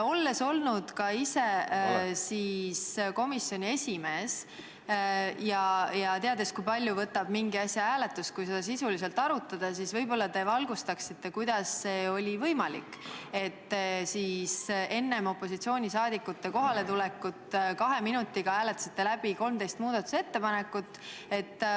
Olles olnud ka ise komisjoni esimees ja teades, kui palju võtab aega mingi asja hääletus, kui seda sisuliselt arutada, ma palun, et te võib-olla valgustate, kuidas oli võimalik, et te enne opositsiooni liikmete kohaletulekut hääletasite kahe minutiga läbi 13 muudatusettepanekut.